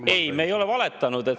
Ei, me ei ole valetanud.